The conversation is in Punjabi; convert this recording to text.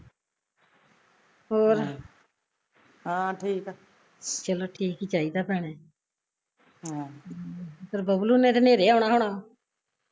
ਹੋਰ ਚਲੋ ਠੀਕ ਈ ਚਾਹੀਦਾ ਭੈਣੇ ਚੱਲ ਬੱਬਲੂ ਨੇ ਤਾਂ ਨੇਰੇ ਆਉਣਾ ਹੋਣਾ